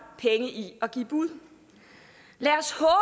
penge i at give bud lad